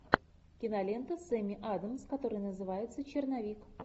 кинолента с эми адамс которая называется черновик